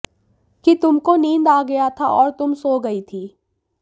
कि तुम को नींद आ गया था और तुम सो गई थी